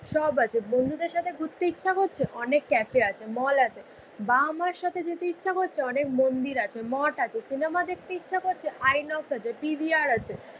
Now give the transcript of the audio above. সব আছে। বন্ধুদের সাথে ঘুরতে ইচ্ছা করছে অনেক ক্যাফে আছে, মল আছে। বাবা মার সাথে যেতে ইচ্ছে করছে অনেক মন্দির আছে মঠ আছে। সিনেমা দেখতে ইচ্ছে করছে আইনক্স আছে পি ভি আর আছে।